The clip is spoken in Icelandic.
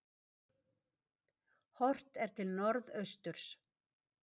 Horft er til norðausturs.